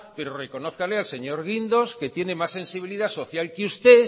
pero reconózcale al señor guindos que tiene más sensibilidad social que usted